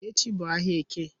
Echi bu ahia Eke